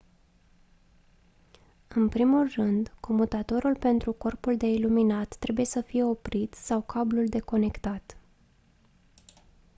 în primul rând comutatorul pentru corpul de iluminat trebuie sa fie oprit sau cablul deconectat